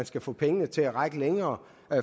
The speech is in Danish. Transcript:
skal få pengene til at række længere